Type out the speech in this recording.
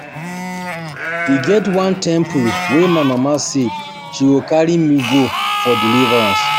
E get one temple wey my mama say she go carry me go for deliverance